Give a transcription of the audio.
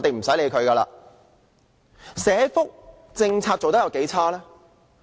政府的社福政策做得有多差勁呢？